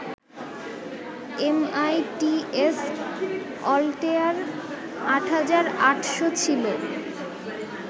MITS Altair ৮৮০০ ছিল